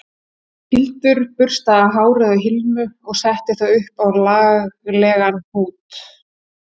Hildur burstaði hárið á Hilmu og setti það upp í laglegan hnút